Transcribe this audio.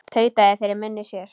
Tautaði fyrir munni sér.